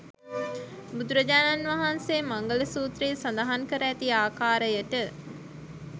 බුදුරජාණන් වහන්සේ මංගල සූත්‍රයේ සඳහන් කර ඇති ආකාරයට